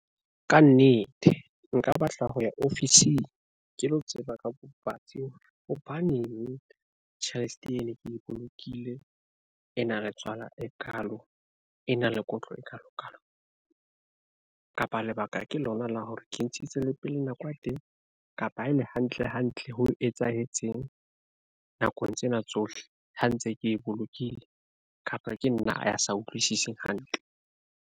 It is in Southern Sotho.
Ka nnete nka batla ho ya ofising ke lo tseba ka bobatsi hore hobaneng tjhelete ene ke bolokile ena le tswala e kalo, e na le kotlo e kalo kalo kapa lebaka ke lona la hore ke ntshitse le pele nako ya teng. Kapa ebe hantle hantle ho etsahetseng nakong tsena tsohle ha ntse ke e bolokile kapa ke nna a sa utlwisiseng hantle.